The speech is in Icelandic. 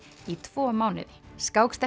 í tvo mánuði